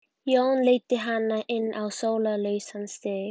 Jón leiddi hana inn á sólarlausan stíg.